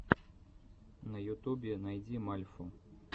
на ютубе найти мальфу